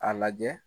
A lajɛ